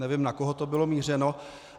Nevím, na koho to bylo mířeno.